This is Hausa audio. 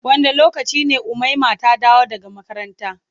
Wanda lokaci ne umaima ta dawo daga makaranta.